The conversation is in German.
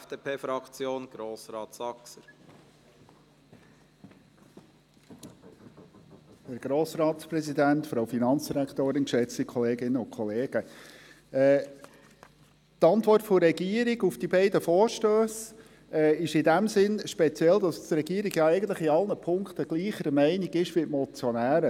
Die Antwort der Regierung auf die beiden Vorstösse ist in dem Sinne speziell, insofern als die Regierung eigentlich in allen Punkten gleicher Meinung ist wie die Motionäre.